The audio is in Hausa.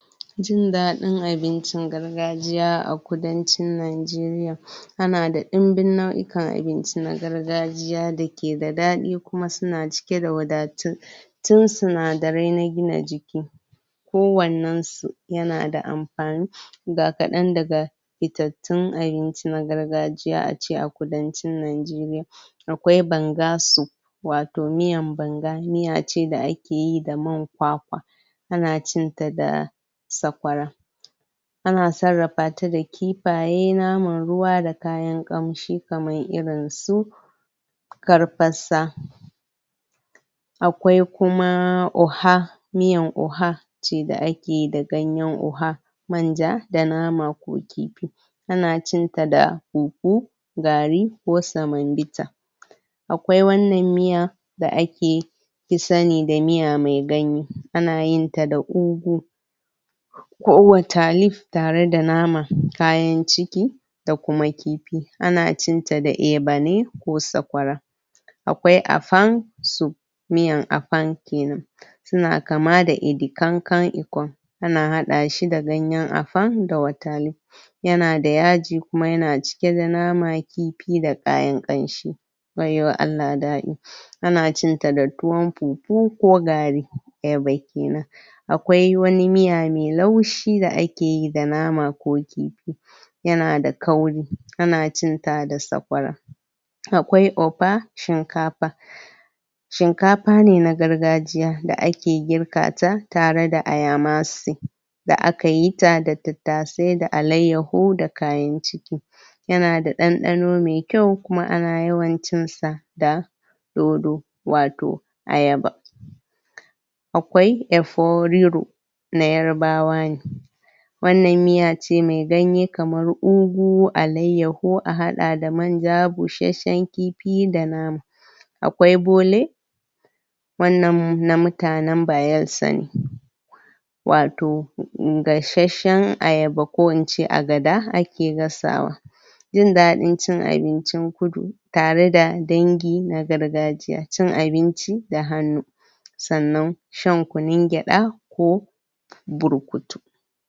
Jindadin abincin gargajiya a kudacin Najiriya ana da imbin nayukan abinci na gargajiya da ke da dadi kuma su na cike da wadatu tun tsinadari na gina jiki, ko wannan si, ya na da amfani ga kadan daga fittatun abinci na gargajiya aci a kudancin Najiriya Akwai banga soup wato miyan banga, miya ce da ake yi man kwakwa a na cin ta da sakwara ana sarafa ta da kifaye, naman ruwa da kayan kamshi kamar irin su karpasa akwai kuma oha miyan oha ce da ake yi da ganyen oha manja da nama ko kifi a na cin ta da fufu garri ko samonvita akwai wannan miya da ake yi ki sani da miya mai ganye, a na yin ta da ugu ko waterleaf tare da nama, kayan ciki da kuma kifi ana cin ta da eba ne ko sakwara akwai afang soup miyan afang kenan su na kama da edikankan ikon ana hada shi da ganyen afang da water leaf ya na da yaji kuma ya na cike da nama kifi da kayan kanshi wayyo Allah dadi. A na cin ta da tuwon pupu ko garri, eba kenan akwai wani miya mai laushi da a ke yi da nama ko kifi. Ya na da kauri, a na cin ta da sakwara, akwai offa, shinkafa shinkafa ne na gargajiya da ake girka ta, tare da ayamasi da aka yi ta da tatase da allaiyaho ko da kayan ciki ya na da ɗanɗano mai kyau kuma ana yawan cin sa da dodo wato ayaba akwai efo riro na yarbawa ne wannan miya ce mai ganye kamar ugu, allaiyaho a hada da manja bushenshen kifi da nama. akwai bole wannan na mutanen Bayelsa ne wato in gasheshen ayaba ko in ce agada ake gasawa jindadin cin abincin kudu tare da dangi na gargajiya, cin abinci da hanu tsannan, shan kunun geda ko burkutu.